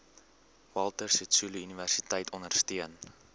walter sisuluuniversiteit ondersteun